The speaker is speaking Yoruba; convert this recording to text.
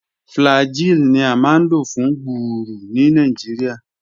Flagyl ni a maa n lo fun gbuuru ni Nigeria.